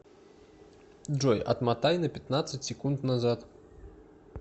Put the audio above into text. джой отмотай на пятнадцать секунд назад